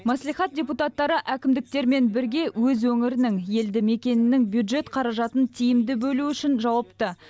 мәслихат депутаттары әкімдіктермен бірге өз өңірінің елді мекенінің бюджет қаражатын тиімді бөлу үшін жауапты